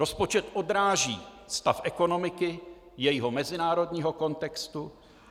Rozpočet odráží stav ekonomiky, jejího mezinárodního kontextu.